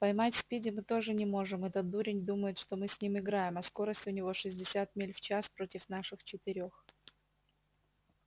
поймать спиди мы тоже не можем этот дурень думает что мы с ним играем а скорость у него шестьдесят миль в час против наших четырёх